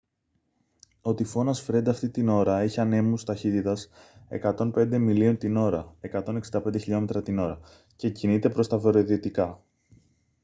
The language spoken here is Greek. ο τυφώνας φρεντ αυτή την ώρα έχει ανέμους ταχύτητας 105 μιλίων την ώρα 165 χλμ / ώρα και κινείται προς τα βορειοδυτικά